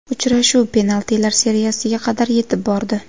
Uchrashuv penaltilar seriyasiga qadar yetib bordi.